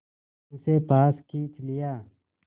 उसे पास खींच लिया